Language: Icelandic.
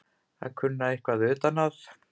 Að kunna eitthvað utan að